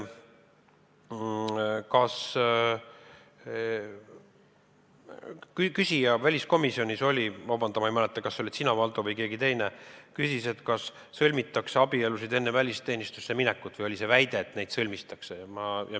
Kas väliskomisjonis küsiti – vabandust, ma ei mäleta, olid see sina, Valdo, või keegi teine –, kas sõlmitakse abielusid enne välisteenistusse minekut, või oli seal see väide, et neid sõlmitakse?